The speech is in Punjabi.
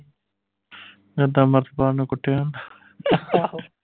ਇੱਦਾਂ ਅਮ੍ਰਿਤਪਾਲ ਨੂੰ ਕੁੱਟਿਆ